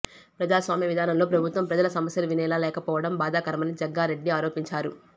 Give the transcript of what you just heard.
ప్రజాస్వామ్య విధానంలో ప్రభుత్వం ప్రజల సమస్యలు వినేలా లేకపోవడం బాధాకరమని జగ్గారెడ్డి ఆరోపించారు